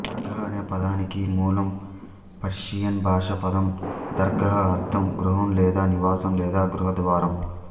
దర్గాహ్ అనే పదానికి మూలం పర్షియన్ భాషా పదం దర్గాహ్ అర్థం గృహం లేదా నివాసం లేదా గృహద్వారం